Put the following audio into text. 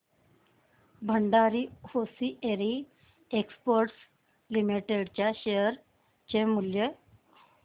Bhandari hosiery exports limited च्या share चे मूल्य